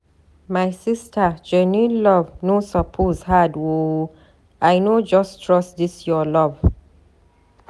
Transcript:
My sista genuine love no suppose hard o. I no just trust dis your love.